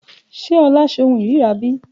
Ṣe Ola se ohun ìríra bí?